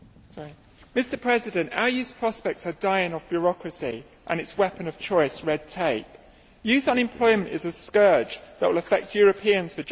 Mr President, our youth's prospects are dying of bureaucracy and its weapon of choice, red tape. Youth unemployment is a scourge that will affect Europeans for generations.